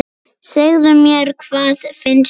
Segðu mér, hvað finnst þér?